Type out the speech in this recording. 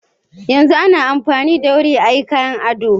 Yanzu ana amfani da wuri ayi kayan ado.